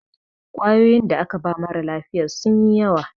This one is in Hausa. ƙwayoyinda aka ba mara lafiya sun yi yawa